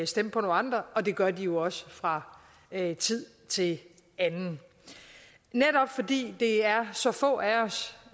stemme på nogle andre og det gør de jo også fra tid til anden netop fordi det er så få af os